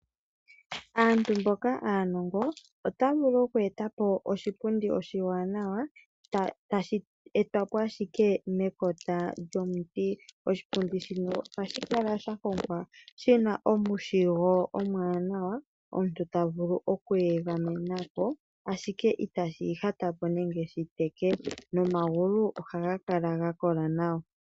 Aantu mboka aanongo ota vulu oku e ta po oshipundi oshiwanawa, tashi etwa po ashike mekota lyomuti. Oshipundi shino ohashi kala sha hongwa shina omushigo omwaanawa omuntu ta vulu oku egamena ko ashike itashi ihata po nenge shi teke, nomagulu ohaga kala ga kola nawa.